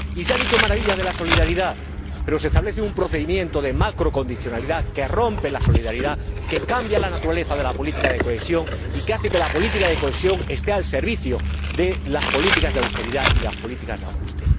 Y se han dicho maravillas de la solidaridad, pero se establece un procedimiento de macrocondicionalidad que rompe la solidaridad, que cambia la naturaleza de la política de cohesión y que hace que la política de cohesión esté al servicio de las políticas de austeridad y de ajuste.